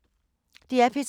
DR P3